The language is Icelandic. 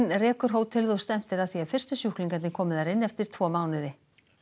rekur hótelið og stefnt er að því að fyrstu sjúklingarnir komi þar inn eftir tvo mánuði